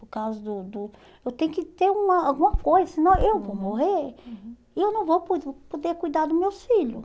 Por causa do do... Eu tenho que ter uma alguma coisa, senão eu vou morrer e eu não vou poder poder cuidar dos meus filhos.